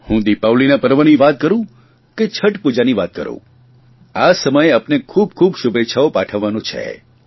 હું દિપાવલીના પર્વની વાત કરૂં કે છઠ પૂજાની વાત કરૂં આ સમય આપને ખૂબખૂબ શુભેચ્છાઓ પાઠવવાનો છે